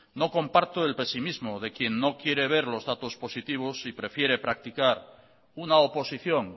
no comparto el pesimismo de quien no quiere ver los datos positivos y prefiere practicar una oposición